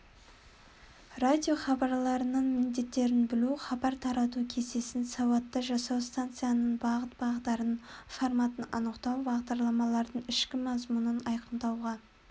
радиохабарларының міндеттерін білу хабар тарату кестесін сауатты жасау станцияның бағыт-бағдарын форматын анықтау бағдарламалардың ішкі мазмұнын айқындауға